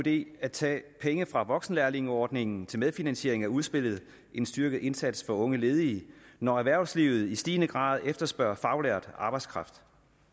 idé at tage penge fra voksenlærlingeordningen til medfinansiering af udspillet en styrket indsats over for unge ledige når erhvervslivet i stigende grad efterspørger faglært arbejdskraft